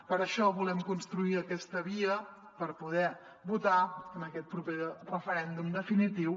per això volem construir aquesta via per poder votar en aquest proper referèndum definitiu